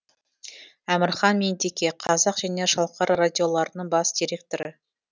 әмірхан меңдеке қазақ және шалқар радиоларының бас директоры